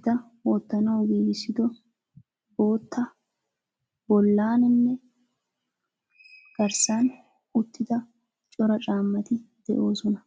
eta wotanawu giigisido botta bollaninne garssan uttida cora caammati de7osona.